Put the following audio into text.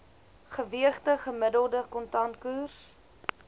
geweegde gemiddelde kontantkoers